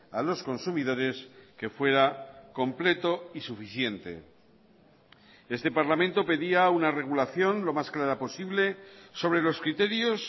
a los consumidores que fuera completo y suficiente este parlamento pedía una regulación lo más clara posible sobre los criterios